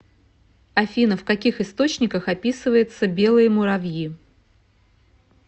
афина в каких источниках описывается белые муравьи